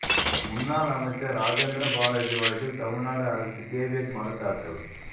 முன்னாள் அமைச்சர் ராஜேந்திர பாலாஜி வழக்கில் தமிழ்நாடு அரசு கேவியட் மனுத்தாக்கல்